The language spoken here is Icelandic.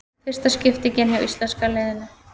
Fyrsta skiptingin hjá íslenska liðinu